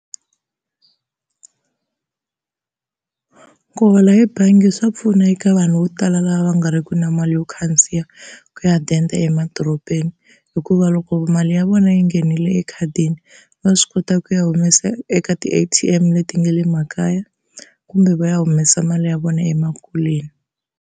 Ku hola hi bangi swa pfuna eka vanhu vo tala lava nga riki na mali yo khandziya ku ya denda emadorobeni, hikuva loko mali ya vona yi nghenile ekhadini va swi kota ku ya humesa eka ti-A_T_M leti nga le makaya kumbe va ya humesa mali ya vona emakuleni.